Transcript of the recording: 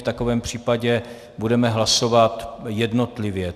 V takovém případě budeme hlasovat jednotlivě.